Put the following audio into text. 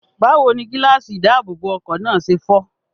Báwo ni gíláàsì ìdáàbòbọ̀ ọkọ̀ náà ṣe fọ́?